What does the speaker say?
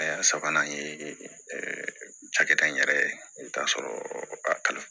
A y'a sabanan ye cakɛda in yɛrɛ ye i bɛ taa sɔrɔ a kalan